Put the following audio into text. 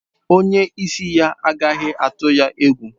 Onye isi ya agaghị atụ ya egwu.